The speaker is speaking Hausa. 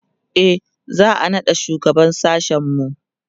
e za'a naɗa shugaban sashen mu